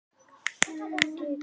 Santía, áttu tyggjó?